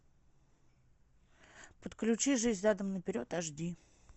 подключи жизнь задом наперед аш ди